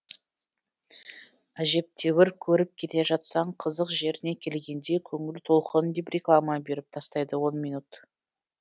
әжептәуір көріп келе жатсаң қызық жеріне келгенде көңіл толқыны деп реклама беріп тастайды он минут